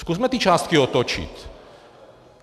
Zkusme ty částky otočit.